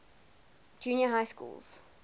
junior high schools